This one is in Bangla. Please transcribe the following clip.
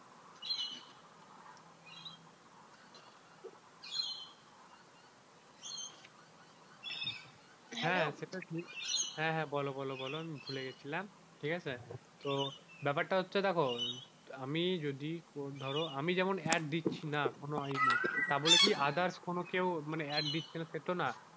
হ্যাঁ হ্যাঁ বল বল বল আমি ভুলে গেছিলাম ঠিক আছে তো ব্যাপারটা হচ্ছে দেখো আমি যদি আমি যেমন আর দিচ্ছি না কোনো তাই বলে কি others কোন কি মানে add দিচ্ছে না সেটা তো না,